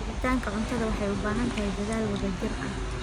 Helitaanka cuntada waxay u baahan tahay dadaal wadajir ah.